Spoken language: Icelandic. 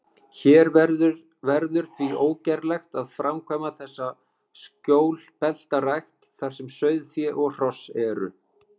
Hér verður því ógerlegt að framkvæma þessa skjólbeltarækt, þar sem sauðfé og hross eru.